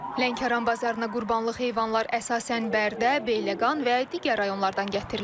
Lənkəran bazarına qurbanlıq heyvanlar əsasən Bərdə, Beyləqan və digər rayonlardan gətirilir.